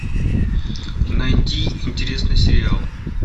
найди интересный сериал